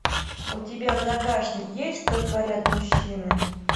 у тебя в загашнике есть что творят мужчины